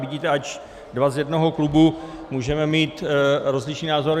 Vidíte, ač dva z jednoho klubu, můžeme mít rozličný názor.